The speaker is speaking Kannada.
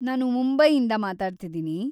ನಾನು ಮುಂಬೈಯಿಂದ ಮಾತಾಡ್ತಿದೀನಿ.